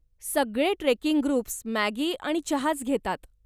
सगळे trekking groups Maggi आणि चहाच घेतात.